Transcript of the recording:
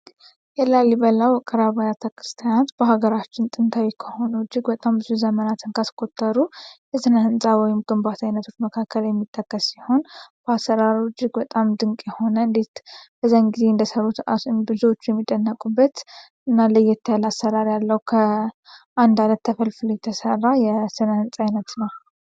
የላሊበላ ውቅር አባያተ ክርስቲያናት በሀገራችን ጥንታዊ ከሆኑ እጅግ በጣም ብዙ ዘመናትን ከስቆጠሩ ህንጻ ወይም ግንባታ መካከል የሚተከል እጅግ በጣም ድንቅ የሆነ እንዴት ተሰራ የስነ ህንጻ አይነት ነው